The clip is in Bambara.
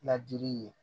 Ladili ye